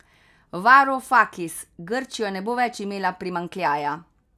Varufakis: 'Grčija ne bo več imela primanjkljaja.